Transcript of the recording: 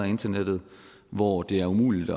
internet hvor det er umuligt